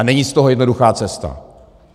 A není z toho jednoduchá cesta.